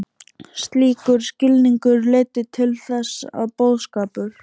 Slíkur skilningur leiddi til þess að boðskapur